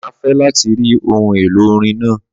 Má fe láti ri ohun èlò Olórin náà